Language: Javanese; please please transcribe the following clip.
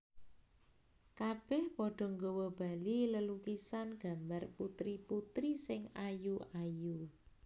Kabèh padha nggawa bali lelukisan gambar putri putri sing ayu ayu